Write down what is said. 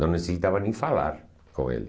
Não necessitava nem falar com ele.